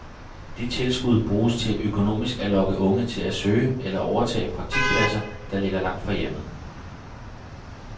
De tilskud bruges til økonomisk at lokke unge til at søge eller overtage praktikpladser, der ligger langt fra hjemmet.